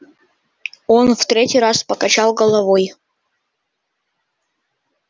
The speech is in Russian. он в третий раз покачал головой